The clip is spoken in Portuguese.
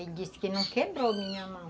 Ele disse que não quebrou a minha mão.